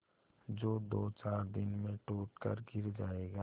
जो दोचार दिन में टूट कर गिर जाएगा